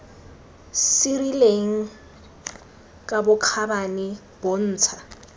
se rileng ka bokgabane bontsha